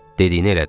Dediyini elədim.